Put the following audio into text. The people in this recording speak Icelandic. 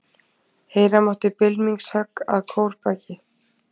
Heyra mátti bylmingshögg að kórbaki.